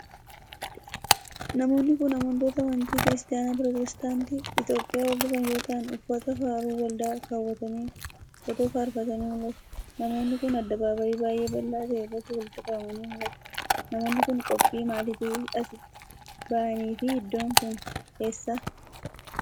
Namoonni kun, amantoota amantii Kiristaana pirootestaantii Itoophiyaa hordofan yoo ta'an, uffata faaruu waldaa kaawwatanii otoo faarfatanii mul'atu. Namoonni kun, addabaabaayii baay'ee bal'aa ta'e irratti walitti qabamanii mul'atu. Namoonni kun, qophii maalitiif as itti bahan fi iddoon kun eessa?